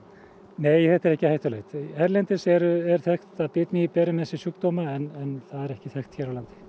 nei þetta er ekki hættulegt erlendis er þekkt að bitmýið beri með sér sjúkdóma en það er ekki þekkt hér á landi